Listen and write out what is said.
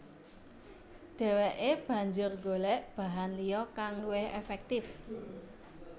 Dheweke banjur golek bahan liya kang luwih efektif